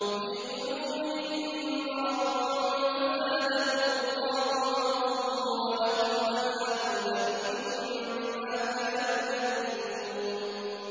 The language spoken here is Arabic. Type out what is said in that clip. فِي قُلُوبِهِم مَّرَضٌ فَزَادَهُمُ اللَّهُ مَرَضًا ۖ وَلَهُمْ عَذَابٌ أَلِيمٌ بِمَا كَانُوا يَكْذِبُونَ